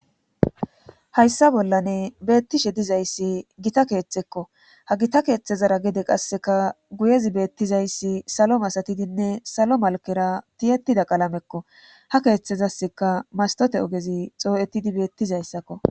Hayssa bollane beettishe dizayssi gita keeththekko ha gita keeththezara gede qasseka guyezi beettizayssi salo masatidinne salo malkera tiyetida qalamekko ha keeththezasseka mastote ogezi xoo7etidi beettizayssakko